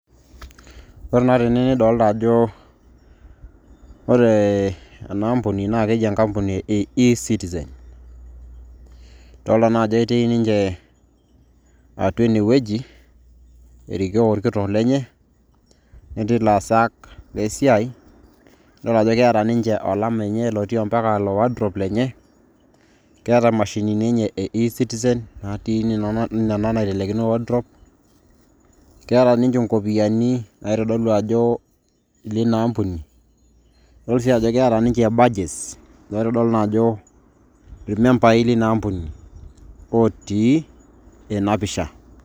ore naa tene naa kitodolu ajo, ore ena kampuni naa keji enkampuni e ecitizen, idoolta naa ajo etii ninche atua ene wueji, erikoo olkitok lenye, netii ilaasak lesiai, nidol ajo ketii olama lenye, netii mpaka ilo wardrobe lenye, keeta imashini enye e ecitizen, nena naitalekino wardrobe, keeta ninche nkopiyiani, naitodolu ajo ilina ampuni. idol sii ajo keeta ninche badges ,looitodolu naa ajo irmembai leina ampuni otii ena pisha.